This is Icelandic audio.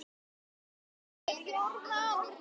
Þinn sonur, Jón Árni.